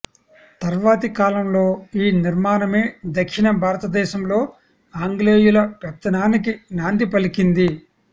తర్వాతి కాలంలో ఈ నిర్మాణమే దక్షిణ భారతదేశంలో ఆంగ్లేయుల పెత్తనానికి నాంది పలికింది